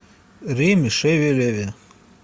риме шевелеве